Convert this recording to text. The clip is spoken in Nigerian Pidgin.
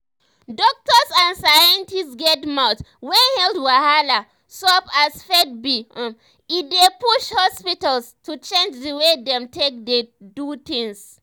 doktors and scientists get mouth when health wahala sup as faith be um e dey push hospitals to change di wey dem take dey do things.